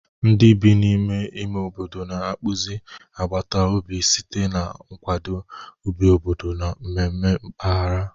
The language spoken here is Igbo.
Ndị bi n'ime ime obodo na-akpụzi agbata obi site na nkwado, ubi obodo, na mmemme mpaghara.